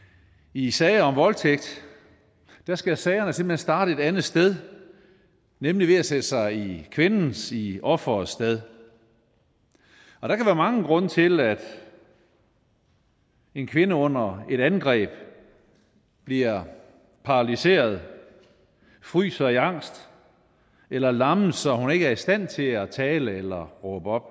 i sager om voldtægt skal sagerne simpelt hen starte et andet sted nemlig ved at sætte sig i kvindens i offerets sted og der kan være mange grunde til at en kvinde under et angreb bliver paralyseret fryser i angst eller lammelser at hun ikke er i stand til at tale eller råbe op